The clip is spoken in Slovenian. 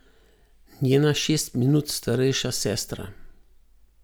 Njena šest minut starejša sestra.